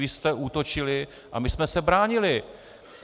Vy jste útočili a my jsme se bránili.